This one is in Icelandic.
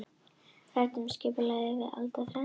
Ræddu um skipulag aðildarviðræðna